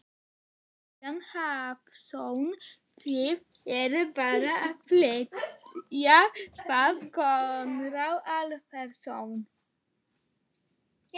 Kristinn Hrafnsson: Þið eruð bara að flýja þá Konráð Alfreðsson?